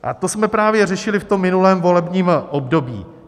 A to jsme právě řešili v tom minulém volebním období.